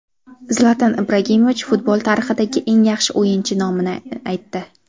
Zlatan Ibragimovich futbol tarixidagi eng yaxshi o‘yinchi nomini aytdi.